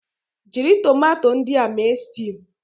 Jiri tomato ndị a mee stew